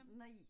Nej